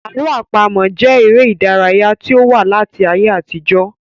Àlọ àpamọ jẹ èrè ìdárayá tí ó ti wà láti ayé àtijó